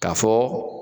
K'a fɔ